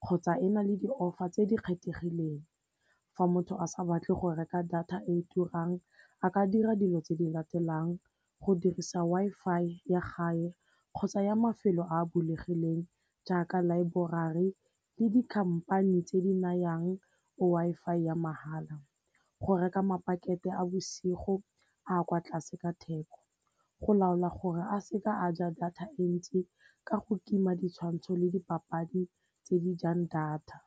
kgotsa e na le ditlhopha tse di kgethegileng. Fa motho a sa batle go reka data e e turang a ka dira dilo tse di latelang go dirisa Wi-Fi ya gae kgotsa ya mafelo a bulegileng jaaka laeborari le dikhamphane tse di nayang Wi-Fi ya mahala. Go reka mapakete a bosigo a kwa tlase ka theko, go laola gore a seke a ja data e ntsi ka go tima ditshwantsho le dipapadi tse di jang data.